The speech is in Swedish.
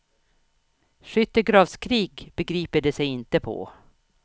Skyttegravskrig begriper de sig inte på.